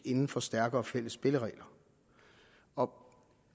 inden for stærkere fælles spilleregler og